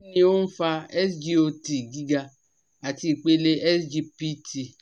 Kí ni ó ń fa SGOT giga àti ipele SGPT?